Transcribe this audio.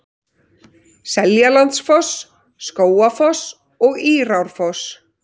Seljalandsfoss, Skógafoss og Írárfoss.